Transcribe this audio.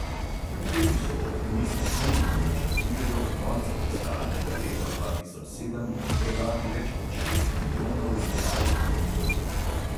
Kljub temu so optimistični in načrtujejo do konca fiskalnega leta dva tisoč sedem prodati več kot šest milijonov igralnih konzol.